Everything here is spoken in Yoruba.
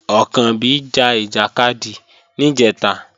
Ọ̀kànbí ja ìjàkadì níjẹ̀ta